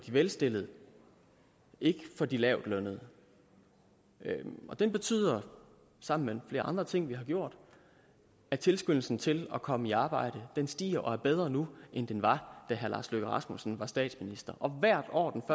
de velstillede ikke for de lavtlønnede og den betyder sammen med flere andre ting vi har gjort at tilskyndelsen til at komme i arbejde stiger og er bedre nu end den var da herre lars løkke rasmussen var statsminister og hvert år den